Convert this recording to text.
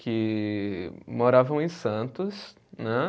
que moravam em Santos, né.